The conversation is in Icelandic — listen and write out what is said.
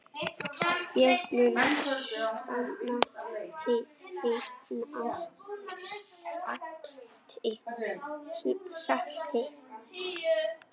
Ég mun sakna hennar sárt.